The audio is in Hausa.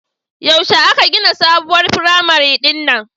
Yaushe aka gina sabuwar firamare din nan